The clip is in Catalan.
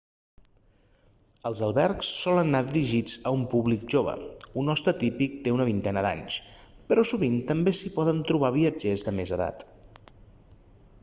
els albergs solen anar dirigits a un públic jove un hoste típic té una vintena d'anys però sovint també s'hi poden trobar viatgers de més edat